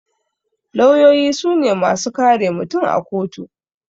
Lawyoyi sune masu kare mutum a kotu